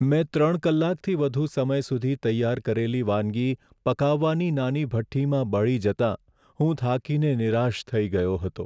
મેં ત્રણ કલાકથી વધુ સમય સુધી તૈયાર કરેલી વાનગી પકાવવાની નાની ભઠ્ઠીમાં બળી જતાં હું થાકીને નિરાશ થઈ ગયો હતો.